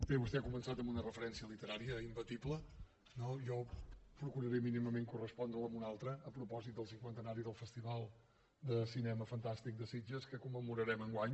bé vostè ha començat amb una referència literària imbatible no jo procuraré mínimament correspondre la amb una altra a propòsit del cinquantenari del festival de cinema fantàstic de sitges que commemorarem enguany